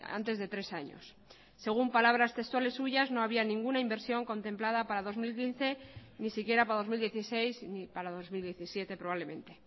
antes de tres años según palabras textuales suyas no había ninguna inversión contemplada para dos mil quince ni siquiera para dos mil dieciséis ni para dos mil diecisiete probablemente